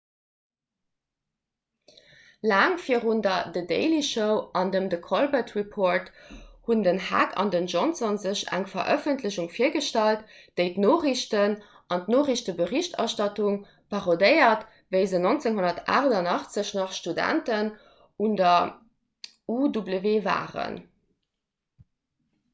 laang virun der the daily show an dem the colbert report hunn den heck an den johnson sech eng verëffentlechung virgestallt déi d'noriichten an d'noriichteberichterstattung parodéiert wéi se 1988 nach studenten un der uw waren